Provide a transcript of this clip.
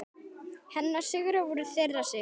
Hennar sigrar voru þeirra sigrar.